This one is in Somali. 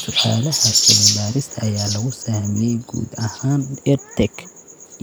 Su'aalaha cilmi-baarista ayaa lagu sahamiyay guud ahaan EdTech